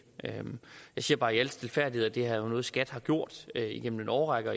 jeg siger bare i al stilfærdighed at det er noget skat har gjort gennem en årrække